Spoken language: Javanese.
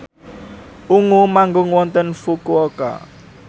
Ungu manggung wonten Fukuoka